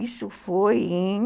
Isso foi em...